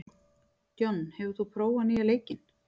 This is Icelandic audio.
John, hefur þú prófað nýja leikinn?